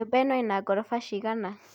Nyũmba ĩno ĩna ngoroba cigana